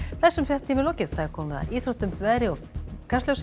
þessum fréttatíma er lokið og komið að íþróttum veðri og Kastljósi